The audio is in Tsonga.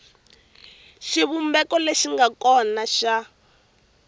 xivumbeko lexi nga kona xa